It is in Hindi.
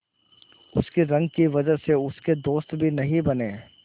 उसकी रंग की वजह से उसके दोस्त भी नहीं बने